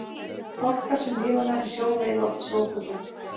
Fálkar sem lifa nærri sjó veiða oft sjófugla.